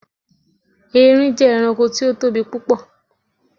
Erin jé̩ e̩ranko tí ó tóbi púpò̩.